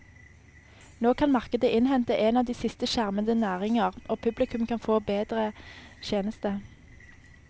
Nå kan markedet innhente en av de siste skjermede næringer, og publikum kan få en bedre tjeneste.